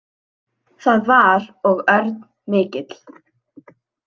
Það var og örn mikill.